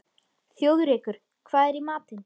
Þjóðrekur, hvað er í matinn?